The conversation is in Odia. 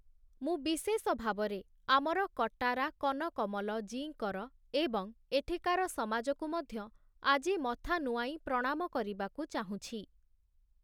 ମୁଁ ବିଶେଷ ଭାବରେ ଆମର କଟାରା କନକମଲ ଜୀଙ୍କର ଏବଂ ଏଠିକାର ସମାଜକୁ ମଧ୍ୟ ଆଜି ମଥା ନୁଆଁଇ ପ୍ରଣାମ କରିବାକୁ ଚାହୁଁଛି ।